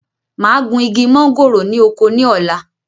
Máa gun igi mọ̀ngòrò ni oko ni ọ̀la.